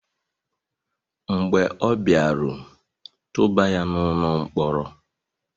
mb͕e ọ biaru, tubà ya n'ulo-nkpọrọ!